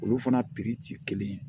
Olu fana piri ti kelen ye